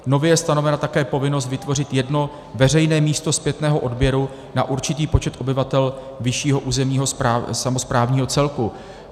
Nově je stanovena také povinnost vytvořit jedno veřejné místo zpětného odběru na určitý počet obyvatel vyššího územního samosprávního celku.